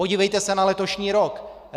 Podívejte se na letošní rok.